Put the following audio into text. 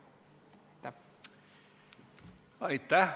Aitäh!